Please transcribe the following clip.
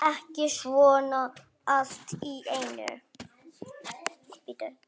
Ekki svona allt í einu.